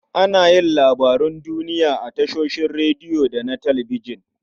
Ana yin labarun duniya a tashoshin rediyo da na talabijin.